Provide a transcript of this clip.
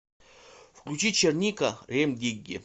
включи черника рем дигги